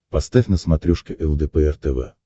поставь на смотрешке лдпр тв